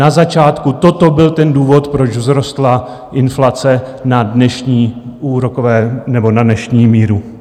Na začátku toto byl ten důvod, proč vzrostla inflace na dnešní úrokové... nebo na dnešní míru.